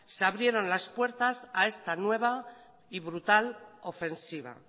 se abrieron las puertas a esta nueva y brutal ofensiva